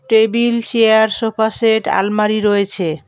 Table chair sofa set আলমারি রয়েছে।